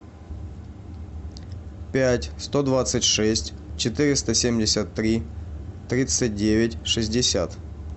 пять сто двадцать шесть четыреста семьдесят три тридцать девять шестьдесят